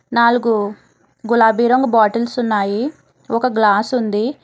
నాలుగు గులాబీ రంగు బాటిల్స్ ఉన్నాయి ఒక గ్లాసు ఉంది.